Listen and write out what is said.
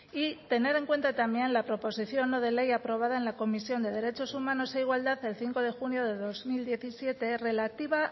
y tener en cuenta también la proposición no de ley aprobada en la comisión de derechos humanos e igualdad el cinco de junio de dos mil diecisiete relativa